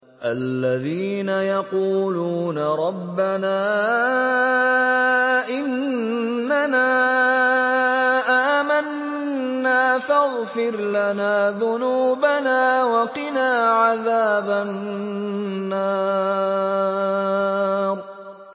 الَّذِينَ يَقُولُونَ رَبَّنَا إِنَّنَا آمَنَّا فَاغْفِرْ لَنَا ذُنُوبَنَا وَقِنَا عَذَابَ النَّارِ